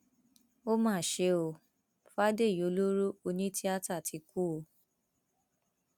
ó mà ṣe ọ fàdèyí ọlọrọ onítìátà ti kú o